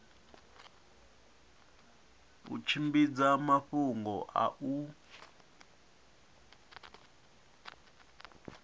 u tshimbidza mafhungo a u